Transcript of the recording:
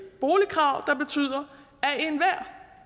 boligkrav der betyder